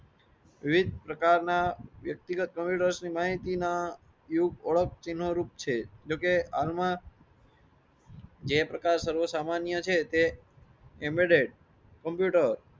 વિશેષ પ્રકાર ના વ્યક્તિગત કમ્પ્યુટર્સ ની માહિતી ના ઓળખ ચિન્હો રૂપ છે. જયપ્રકાશ સર્વ સામાન્ય છે તે એમ્બે ડેડ કમ્પ્યુટર.